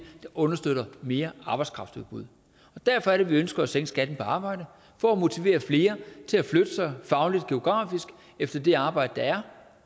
der understøtter mere arbejdskraftudbud derfor er det vi ønsker at sænke skatten på arbejde for at motivere flere til at flytte sig fagligt og geografisk efter det arbejde der er